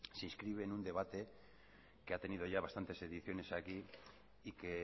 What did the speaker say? se inscribe en un debate que ha tenido ya bastante ediciones aquí y que